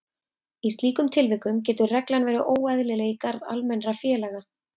Í slíkum tilvikum getur reglan verið óeðlileg í garð almennra félaga.